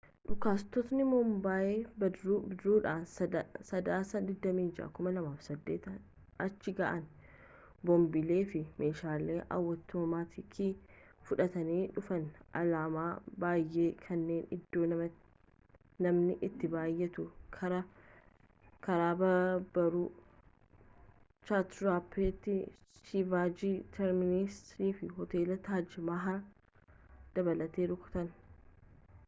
dhukaastotni mumbaay bidiruudhaan sadaasa 26 2008 achi ga'an boombilee fi meeshaalee awutomaatikii fudhatanii dhufanii alaamaa baayyee kanneen iddoo namni itti baayyatu karaa baaburaa chaatraappaatii shivaajii terminas fi hoteela taaj mahal dabalatan rukutan